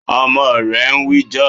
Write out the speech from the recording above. Ọmọ rẹ ń wíjọ́.